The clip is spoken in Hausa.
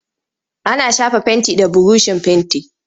Ana shafa fenti da burushin fenti.